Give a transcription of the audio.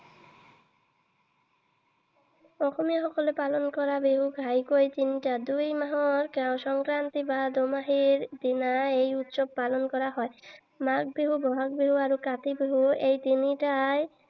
অসমীয়া সকলে পালন কৰা বিহু ঘাঁইকৈ তিনিটা। দুই মাহৰ সংক্ৰান্তি বা দুমাহীৰ দিনা এই উৎসৱ পালন কৰা হয়। মাঘ বিহু, বহাগ বিহু আৰু কাতি বিহু এই তিনিটাই